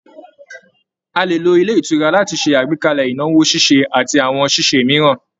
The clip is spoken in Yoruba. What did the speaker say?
A lè lo ilé ìtura láti ṣe àgbékalẹ̀ ìnáwó ṣíṣe àti àwọn ṣíṣe mìíràn